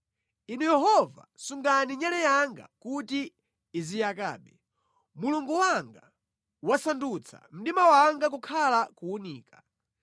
Inu Yehova, sungani nyale yanga kuti iziyakabe; Mulungu wanga wasandutsa mdima wanga kukhala kuwunika.